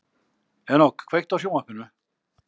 Enok, kveiktu á sjónvarpinu.